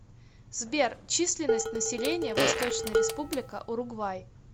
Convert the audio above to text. сбер численность населения восточная республика уругвай